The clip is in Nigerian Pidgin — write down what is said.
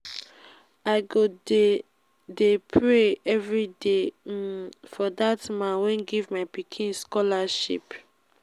i go dey dey pray everyday um for dat man wey give my pikin scholarship